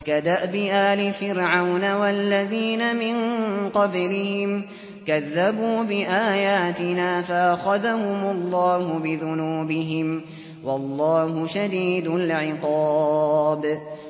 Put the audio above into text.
كَدَأْبِ آلِ فِرْعَوْنَ وَالَّذِينَ مِن قَبْلِهِمْ ۚ كَذَّبُوا بِآيَاتِنَا فَأَخَذَهُمُ اللَّهُ بِذُنُوبِهِمْ ۗ وَاللَّهُ شَدِيدُ الْعِقَابِ